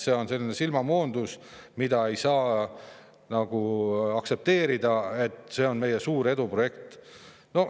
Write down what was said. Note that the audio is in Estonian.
See on silmamoondus, ei saa aktsepteerida, et see on meie suur eduprojekt.